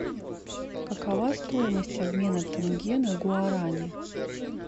какова стоимость обмена тенге на гуарани